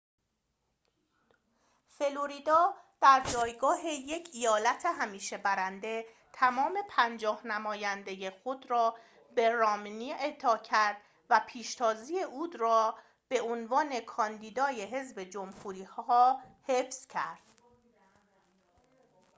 فلوریدا در جایگاه یک ایالت همیشه برنده تمام پنجاه نماینده خود را به رامنی اعطا کرد و پیشتازی او را به عنوان کاندیدای حزب جمهوری‌خواه حفظ کرد